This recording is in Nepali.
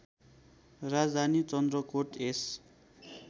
राजधानी चन्द्रकोट यस